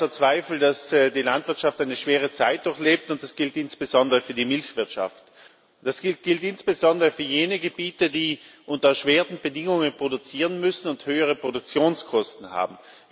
Es ist ja außer Zweifel, dass die Landwirtschaft eine schwere Zeit durchlebt. Das gilt insbesondere für die Milchwirtschaft, das gilt insbesondere für jene Gebiete, die unter erschwerten Bedingungen produzieren müssen und höhere Produktionskosten haben.